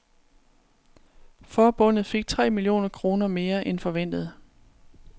Forbundet fik tre millioner kroner mere end forventet.